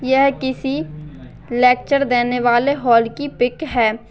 यह किसी लेक्चर देने वाले हॉल की पिक है।